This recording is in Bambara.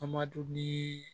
An ma don ni